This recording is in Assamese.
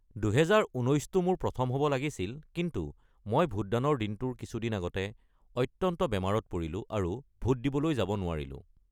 ২০১৯টো মোৰ প্ৰথম হ'ব লাগিছিল, কিন্তু মই ভোটদানৰ দিনটোৰ কিছু দিন আগতে অত্যন্ত বেমাৰত পৰিলো আৰু ভোট দিবলৈ যাব নোৱাৰিলোঁ।